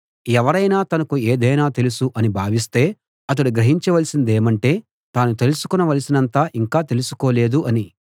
ఎవరైనా తనకు ఏదైనా తెలుసు అని భావిస్తే అతడు గ్రహించ వలసిందేమంటే తాను తెలుసుకోవలసినంత ఇంకా తెలుసుకోలేదు అని